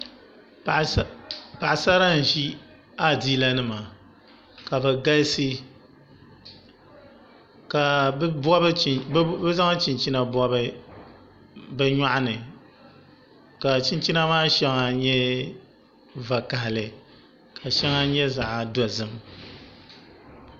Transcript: Paɣasara n ʒi adiila nima ka bi galisi ka bi zaŋ chinchina bi nyoɣani ka chinchina maa shɛli nyɛ vakaɣali ka shɛŋa nyɛ zaɣ dozim